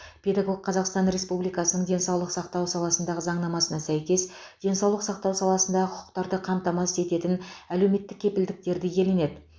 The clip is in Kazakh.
педагог қазақстан республикасының денсаулық сақтау саласындағы заңнамасына сәйкес денсаулық сақтау саласындағы құқықтарды қамтамасыз ететін әлеуметтік кепілдіктерді иеленеді